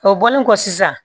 O bɔlen kɔ sisan